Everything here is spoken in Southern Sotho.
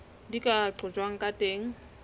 di ka qojwang ka teng